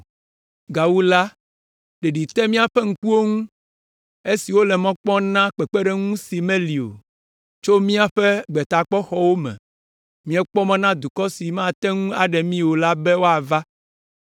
Gawu la, ɖeɖi te míaƒe ŋkuwo ŋu esi wole mɔ kpɔm na kpekpeɖeŋu si meli o; tso míaƒe gbetakpɔxɔwo me, míekpɔ mɔ na dukɔ si mate ŋu aɖe mí o la be wòava.